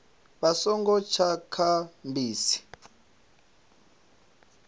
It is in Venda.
vha songo tsa kha bisi